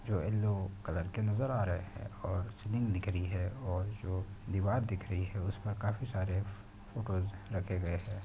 जो yellow colour के नजर आ रहे हैं और सीलिंग दिख रही है और जो दीवार दिख रही है उसमें काफी सारे फोटो रखे गए है।